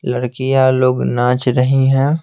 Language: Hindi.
लड़कियां लोग नाच रही हैं।